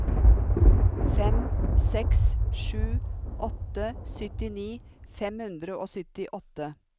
fem seks sju åtte syttini fem hundre og syttiåtte